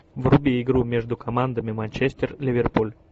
вруби игру между командами манчестер ливерпуль